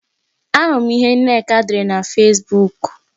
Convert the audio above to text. Ahụrụ m ihe Nneka dere na Fesbuk